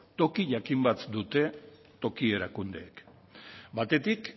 toki jakin bat dute toki erakundeek batetik